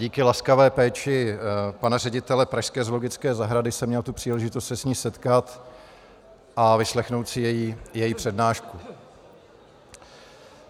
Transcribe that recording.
Díky laskavé péči pana ředitele pražské zoologické zahrady jsem měl tu příležitost se s ní setkat a vyslechnout si její přednášku.